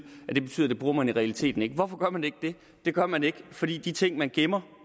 at det betyder at det bruger man i realiteten ikke hvorfor gør man ikke det det gør man ikke fordi de ting man gemmer